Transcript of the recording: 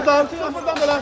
Topu dağı, topu dağı.